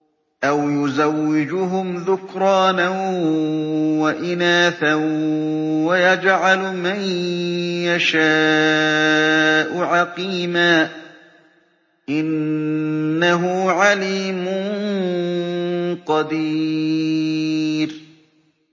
أَوْ يُزَوِّجُهُمْ ذُكْرَانًا وَإِنَاثًا ۖ وَيَجْعَلُ مَن يَشَاءُ عَقِيمًا ۚ إِنَّهُ عَلِيمٌ قَدِيرٌ